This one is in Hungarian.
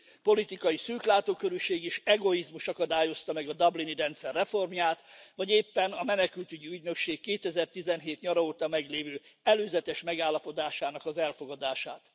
Politikai szűklátókörűség és egoizmus akadályozta meg a dublini rendszer reformját, vagy éppen a menekültügyi ügynökség 2017 nyara óta meglévő előzetes megállapodásának az elfogadását.